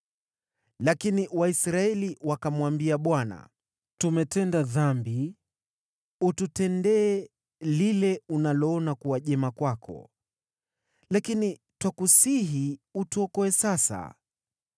Lakini Waisraeli wakamwambia Bwana , “Tumetenda dhambi. Ututendee lile unaloona kuwa jema kwako, lakini twakusihi utuokoe sasa.”